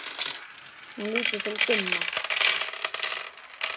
Hún lítur til Gumma.